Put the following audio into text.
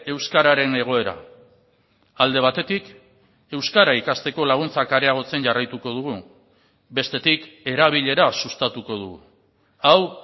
euskararen egoera alde batetik euskara ikasteko laguntzak areagotzen jarraituko dugu bestetik erabilera sustatuko dugu hau